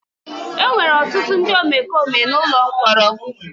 Enwere ọtụtụ ndị omekome n'ụlọ mkpọrọ.